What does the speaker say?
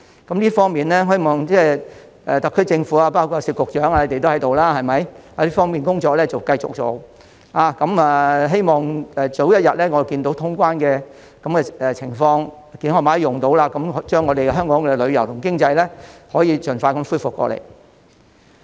就這方面，我希望特區政府，包括聶局長也在席，這方面的工作要繼續做，希望早日看到通關，健康碼可以使用，令香港的旅遊和經濟盡快恢復。